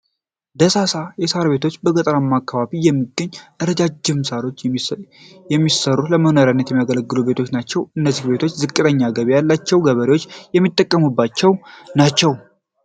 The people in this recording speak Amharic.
ደሳሳ የሳር ቤቶች በገጠራማ አካባቢዎች የሚገኙ ረጃጅም ሳሮች የሚሰሰሩ ለመኖሪያነት የሚያገለግሉ ቤቶች ናቸው። እነዚህም ቤቶች ዝቅተኛ ገቢ ያላቸው ገበሬዎች የሚጠቀሟቸው ናቸው።